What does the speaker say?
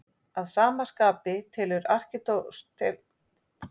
Að sama skapi telur Aristóteles að góð listaverk eigi að mynda eina heild.